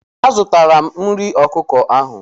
A zụtala m nri ọkụkọ ahụ.